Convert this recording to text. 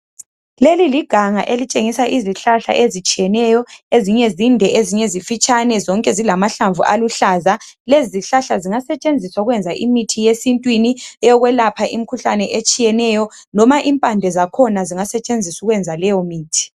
leli liganga elitshengisa izihlahla ezitshiyeneyo ezinye zinde ezinye zifitshane zonke zilamahlamvu aluhlaza lezi zihlahla zingasetshenziswa ukwenza imithi yesintwini eyokwelapha imikhuhlane etshiyeneyo loba impande zakhona zingasetshenziswa ukwenza leyo mithi